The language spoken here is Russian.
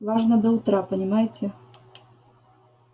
нужно до утра понимаете